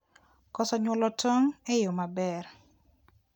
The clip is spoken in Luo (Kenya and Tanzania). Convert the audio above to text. koso nyuolo tong' e yo maber